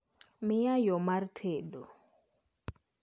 Mia yoo mar tedo